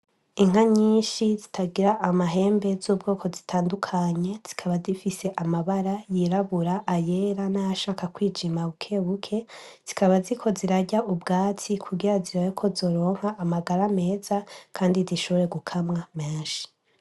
Inka nyishi zitagira amahembe zikaba zifise amabara y'irabura ayera nayashaka kwijima bukebuke zikaba ziriko zirarya ubwatsi kugira zirabe kozogira amagara meza Kandi zishobore gukamwa menshi.